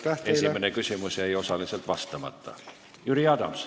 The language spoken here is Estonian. Esimene küsimus jäi osaliselt vastamata.